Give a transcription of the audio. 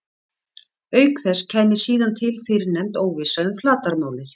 Auk þess kæmi síðan til fyrrnefnd óvissa um flatarmálið.